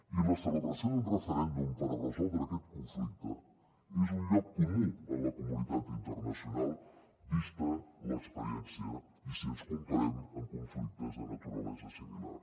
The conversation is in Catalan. i la celebració d’un referèndum per a resoldre aquest conflicte és un lloc comú en la comunitat internacional vista l’experiència i si ens comparem amb conflictes de naturalesa similar